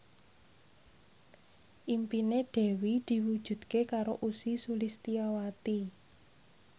impine Dewi diwujudke karo Ussy Sulistyawati